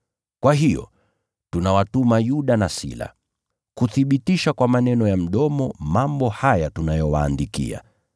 Kwa hiyo tunawatuma Yuda na Sila, kuthibitisha kwa maneno ya mdomo mambo haya tunayowaandikia.